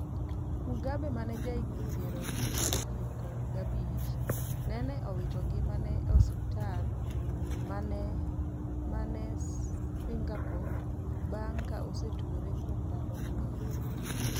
Mugabe mane ja higni piero chiko gi abich nene owiti ngimane e osiptal manen Singerpo bang. ka osetuore kuom dalo mang'eny